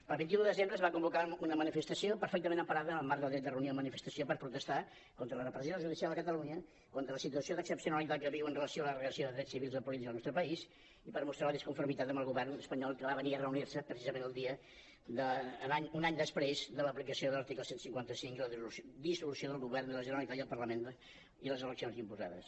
el vint un de desembre es va convocar una manifestació perfectament emparada en el marc del dret de reunió i manifestació per protestar contra la repressió judicial a cata·lunya contra la situació d’excepcionalitat que viu amb relació a la declaració de drets civils i polítics al nostre país i per mostrar la disconformitat amb el govern espanyol que va venir a reunir·se precisament un any després de l’aplicació de l’article cent i cinquanta cinc i la dissolució del govern de la generalitat i el parlament i les eleccions imposades